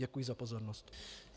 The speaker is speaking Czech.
Děkuji za pozornost.